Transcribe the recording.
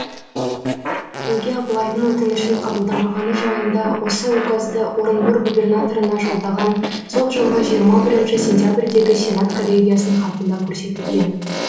неге абылайдың өтінішін қабылдамағаны жайында осы указды орынбор губернаторына жолданған сол жылғы жиырма бірінші сентябрьдегі сенат коллегиясының хатында көрсетілген